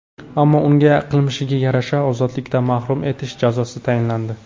Ammo unga qilmishiga yarasha ozodlikdan mahrum etish jazosi tayinlandi.